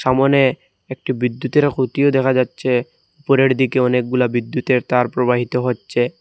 সামোনে একটি বিদ্যুতেরও খুঁটিও দেখা যাচ্ছে উপরের দিকে অনেকগুলা বিদ্যুতের তার প্রবাহিত হচ্ছে।